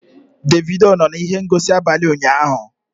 Davido nọ na ihe ngosi n'abalị ụnyahụ?